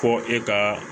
Fɔ e ka